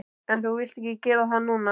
En þú vilt ekki gera það núna.